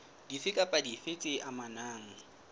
dife kapa dife tse amanang